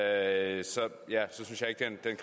altså